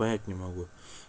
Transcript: понять не могу